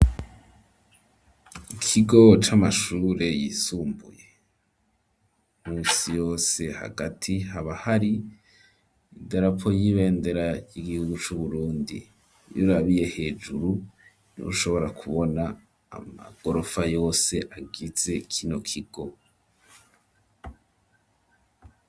Ikigo c'amashure yisumbuye ,misi yose hagati habahari idarapo y'ibendera ry'igihugu c'uburundi, iyurabiye hejuru nih'ushobora kubona amagorofa yose agize kino kigo.